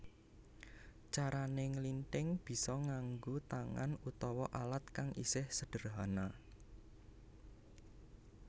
Carané nglinthing bisa nganggo tangan utawa alat kang isih sedherhana